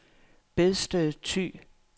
Bedsted Thy